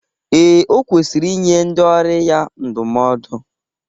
Ee, o kwesiri inye ndị ọrụ ya ndụmọdụ.